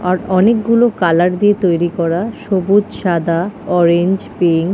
আর অনকে গুলো কালার দিয়ে তৈরি করা সবুজ সাদা অরেঞ্জ পিঙ্ক ।